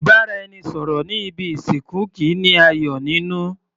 Ìbáraẹnisọ̀rọ̀ ní ibi ìsìnkú kìí ní ayọ̀ nínú.